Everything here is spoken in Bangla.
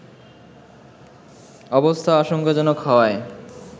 অবস্থা আশঙ্কাজনক হওয়ায়